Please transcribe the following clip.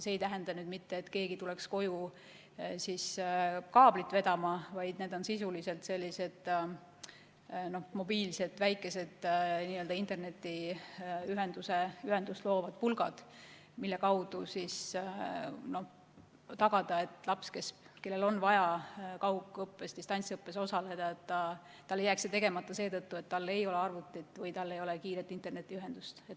See ei tähenda mitte seda, et keegi tuleb koju kaablit vedama, vaid sisuliselt sellised väikesed mobiilset internetiühendust loovad pulgad, mille kaudu tagada, et lapsel, kellel on vaja kaugõppes, distantsõppes osaleda, ei jääks see tegemata seetõttu, et tal ei ole arvutit või kiiret internetiühendust.